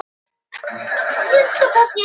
Ég skal segja þér það, en þú mátt ekki kjafta frá.